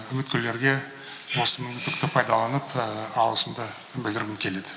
үміткерлерге осы мүмкіндікті пайдаланып алғысымды білдіргім келеді